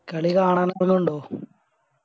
കളി കാണാൻ ണ്ടോ